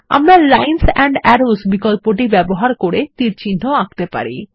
আমরা lines and arrows বিকল্পটি ব্যবহার করে তীরচিহ্ন আঁকতে পারি